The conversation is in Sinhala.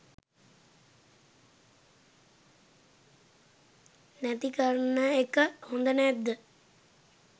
නැති කරන එක හොඳ නැද්ද?